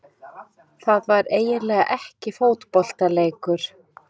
Það var eiginlega ekki fótboltaleikur.